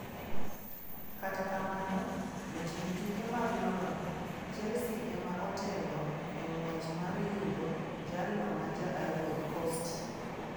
Kata kamano, jotim tuke mag London Chelsea ema otelo e ng'wech mar yudo jalno ma Ja-Ivory Coast.